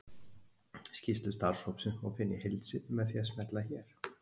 Skýrslu starfshópsins má finna í heild sinni með því að smella hér.